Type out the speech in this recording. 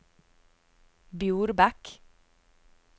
Bjorbekk